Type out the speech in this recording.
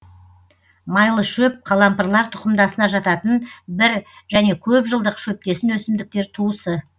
майлышөп қалампырлар тұқымдасына жататын бір және көп жылдық шөптесін өсімдіктер туысы